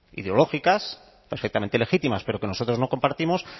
ideológicas perfectamente legítimas pero que nosotros no compartimos